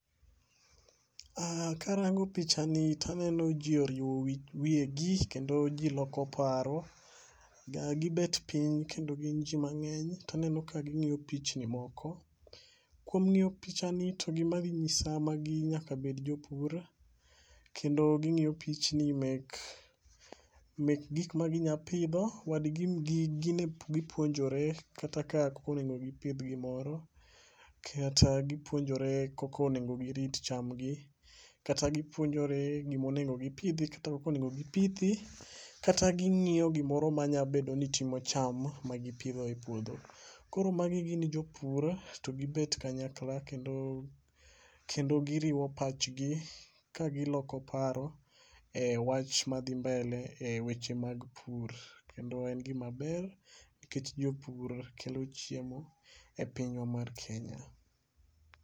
Karango picha ni taneno jii oriwo wi wiyegi kendo jii loko paro ga, gibet piny kendo gin jii mang'eny taneno ka ging'iyo pichni moko. Kang'iyo picha ni to gima gi nyisa magi nyak bed jopur kendo ging'iyo pichni mek mek gik ma ginya pidho .Wat gi gin gipuonjore kaka onego gibith gimoro, kata gipuonjore koko onego girit chambgi kata gipuonjore gimonego gipidhi kaka onego gipithi kata ging'iyo gimoro ma nya bedo ni timo cham ma gipidho e puodho .Koro magi gin jopur to gibet kanyakla kendo giriwo pachgi ka giloko paro e wach madhi mbele e weche mag pur kendo en gima ber nikech jopur kelo chiemo e pinywa mar kenya.